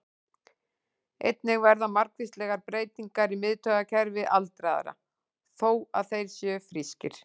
Einnig verða margvíslegar breytingar í miðtaugakerfi aldraðra, þó að þeir séu frískir.